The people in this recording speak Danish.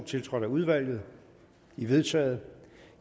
tiltrådt af udvalget de er vedtaget